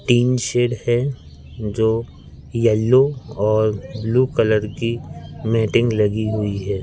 Tin shed है जो yellow और ब्लू कलर की मैटिंग लगी हुई है।